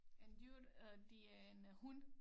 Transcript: En dyr øh det er en øh hund